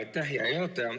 Aitäh, hea juhataja!